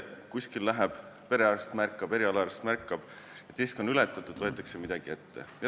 Kui nüüd perearst või erialaarst märkab, et risk on ületatud, võetakse midagi ette.